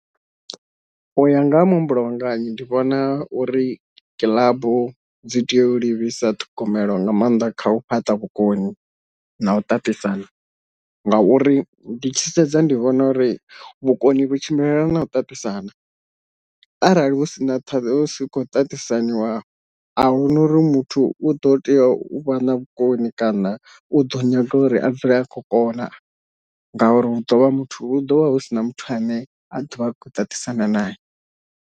Uya nga ha muhumbulo wanga hi ndi vhona uri kilabu dzi tea u livhisa ṱhogomelo nga maanḓa kha u fhaṱa vhukoni na u ṱaṱisana, ngauri ndi tshi sedza ndi vhona uri vhukoni vhu tshimbilelana na u ṱaṱisana, arali hu si na ṱhavhi hu si kho ṱaṱisaniwa ahuna uri muthu u ḓo tea u vha na vhukoni kana u ḓo nyaga uri a dzule a khou kona ngauri hu ḓovha muthu hu ḓo vha hu si na muthu ane a ḓovha a kho ṱaṱisana nae.